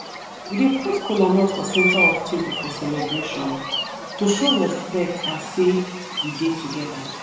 we dey put kolanut for center of table for celebration to show respect and sey we dey together.